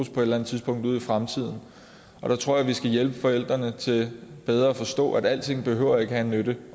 et eller andet tidspunkt ude i fremtiden jeg tror at vi skal hjælpe forældrene til bedre at forstå at alting ikke behøver at have en nytte